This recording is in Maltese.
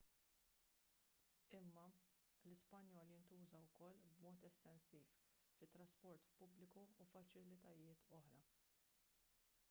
imma l-ispanjol jintuża wkoll b'mod estensiv fit-trasport pubbliku u faċilitajiet oħra